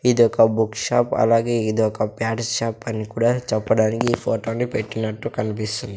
ఇదొక book shop అలాగే ఇదొక ప్యాడ్స్ షాప్ అని కూడా చెప్పడానికి ఈ ఫొటో ని పెట్టినట్టు కన్పిస్తుం --